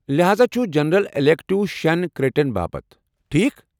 لحاذا چُھ general election کریڈٹن باپت، ٹھیکھ؟